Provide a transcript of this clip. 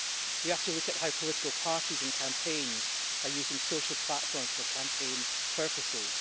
We have to look at how political parties and campaigns are using social platforms for campaign purposes.